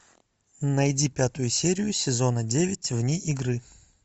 найди пятую серию сезона девять вне игры